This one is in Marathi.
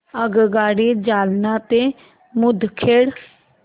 आगगाडी जालना ते मुदखेड